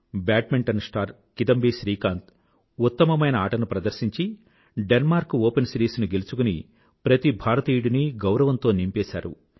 badminton star Kidambi Srikanth ఉత్తమమైన ఆటను ప్రదర్శించి డెన్మార్క్ ఓపెన్ సిరీస్ ను గెలుచుకుని ప్రతి భారతీయుడినీ గౌరవంతో నింపేసాడు